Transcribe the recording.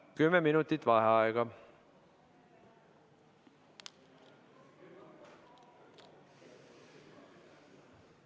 Kümme minutit vaheaega.